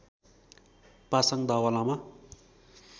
Pasang Dawa Lama